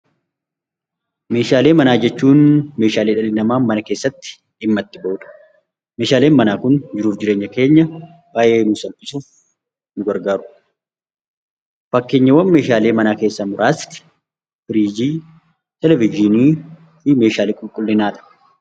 Meeshaalee manaa jechuun Meeshaalee dhalli namaa mana keessatti dhimma itti bahudha. Meeshaaleen manaa Kun baayyee nu gargaaru. Fakkeenyaalee Meeshaalee manaa keessaa muraasni, firiijii, televizyiinii fi Meeshaalee qulqulliinaadha.